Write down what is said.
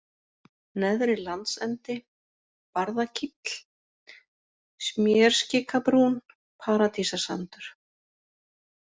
Neðri-Landsendi, Barðakíll, Smérskikabrún, Paradísarsandur